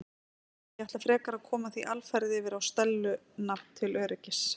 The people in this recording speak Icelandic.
Ég ætla frekar að koma því alfarið yfir á Stellu nafn til öryggis.